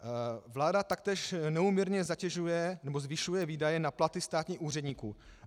Vláda taktéž neúměrně zatěžuje nebo zvyšuje výdaje na platy státních úředníků.